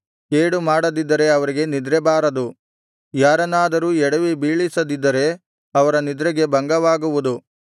ಕೇಡುಮಾಡದಿದ್ದರೆ ಅವರಿಗೆ ನಿದ್ರೆಬಾರದು ಯಾರನ್ನಾದರೂ ಎಡವಿಬೀಳಿಸದಿದ್ದರೆ ಅವರ ನಿದ್ರೆಗೆ ಭಂಗವಾಗುವುದು